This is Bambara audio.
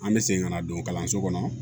An bɛ segin ka na don kalanso kɔnɔ